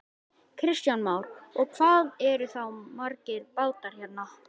Kristján Már: Og hvað eru þá margir bátar hérna?